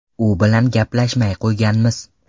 U bilan gaplashmay qo‘yganmiz.